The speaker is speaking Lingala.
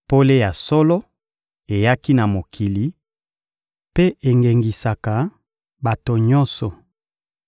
Pole ya solo eyaki na mokili, mpe engengisaka bato nyonso.